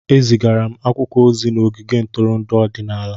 Ezigara akwụkwọ ozi n'ogige ntụrụndụ ọdịnala.